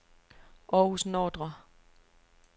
Århus Nordre